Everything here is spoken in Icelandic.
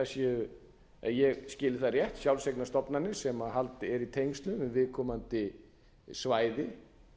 séu ef ég hef skilið það rétt sjálfseignarstofnanir sem eru í tengslum við viðkomandi svæði